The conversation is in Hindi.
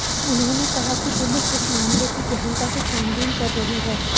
उन्होंने कहा कि पुलिस इस मामले की गहनता से छानबीन कर रही है